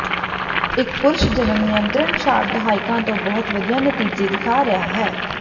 ਇੱਕ ਪੁਰਸ਼ ਜਨਮ ਨਿਯੰਤਰਣ ਸ਼ਾਟ ਦਹਾਕਿਆਂ ਤੋਂ ਬਹੁਤ ਵਧੀਆ ਨਤੀਜੇ ਦਿਖਾ ਰਿਹਾ ਹੈ